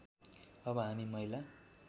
अब हामी महिला